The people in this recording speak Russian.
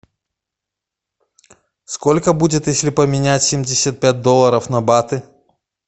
сколько будет если поменять семьдесят пять долларов на баты